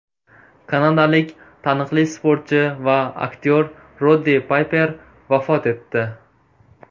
Kanadalik taniqli sportchi va aktyor Roddi Payper vafot etdi .